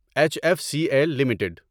H F C L limited